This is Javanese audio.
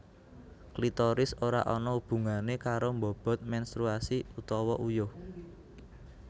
Klitoris ora ana hubungané karo mbobot menstruasi utawa uyuh